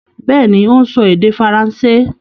Bẹ́ẹ̀ni, ó ń sọ èdè faransé.